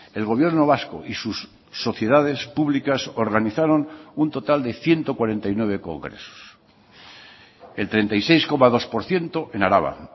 el gobierno vasco y sus sociedades públicas organizaron un total de ciento cuarenta y nueve congresos el treinta y seis coma dos por ciento en araba